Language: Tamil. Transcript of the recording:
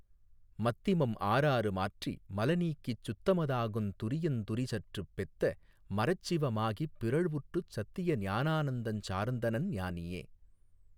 மத்திமம் ஆறாறு மாற்றி மலநீக்கிச் சுத்தமதாகுந் துரியத் துரிசற்றுப் பெத்த மறச்சிவ மாகிப் பிறழ்வுற்றுச் சத்தியஞானானந்தஞ் சார்ந்தனன் ஞானியே.